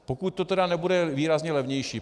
Pokud to tedy nebude výrazně levnější.